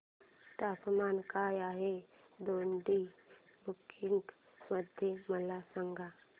तापमान काय आहे दोडी बुद्रुक मध्ये मला सांगा